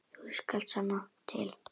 Þú skalt sanna til.